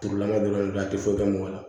Tugulama dɔrɔn de a tɛ foyi kɛ mɔgɔ la